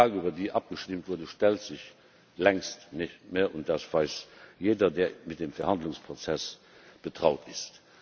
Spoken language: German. Denn die Frage, über die abgestimmt wurde, stellt sich längst nicht mehr, und das weiß jeder, der mit dem Verhandlungsprozess betraut ist.